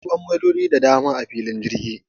Akwai bangarori da dama a filin jirgi.